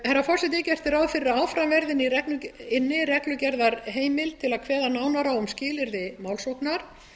herra forseti gert er ráð fyrir að áfram verði inni reglugerðarheimild til að kveða nánar á um skilyrði málsóknar